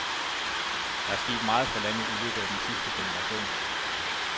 Der er sket meget for landet i løbet af den sidste generation.